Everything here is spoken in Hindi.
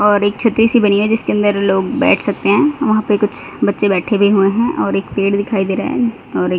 और एक छतरी सी बनी हुई है जिसके अंदर लोग बैठ सकते हैं वहां पे कुछ बच्चे बैठे भी हुए हैं और एक पेड़ दिखाई दे रहा है और एक--